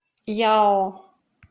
яо